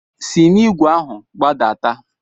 Si n'igwe ahu gbadata!